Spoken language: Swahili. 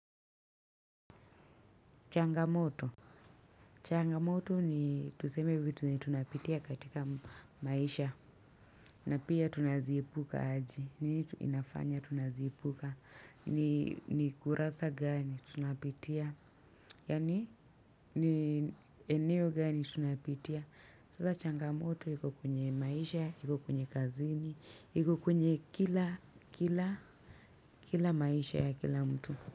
Changamoto, changamoto ni tuseme vitu tunapitia katika maisha na pia tunaziepuka aje, ni nini inafanya tunaziepuka. Ni kurasa gani tunapitia. Yaani ni eneo gani tunapitia. Sasa changamoto iko kwenye maisha, iko kwenye kazini, iko kwenye kila kila maisha ya kila mtu.